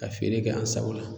Ka feere kɛ an sago la.